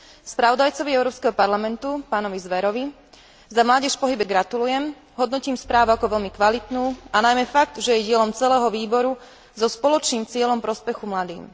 Spravodajcovi Európskeho parlamentu pánovi Zverovi za Mládež v pohybe gratulujem, hodnotím správu ako veľmi kvalitnú a najmä fakt, že je dielom celého výboru so spoločným cieľom prospechu mladým.